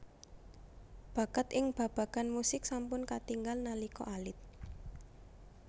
Bakat ing babagan musik sampun katingal nalika alit